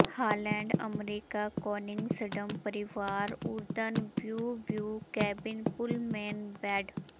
Holland America Koningsdam ਪਰਿਵਾਰ ਓਰਦਨ view view cabin pullman bed